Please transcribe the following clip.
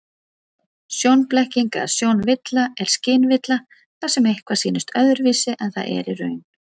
Sjónblekking eða sjónvilla er skynvilla þar sem eitthvað sýnist öðruvísi en það er í raun.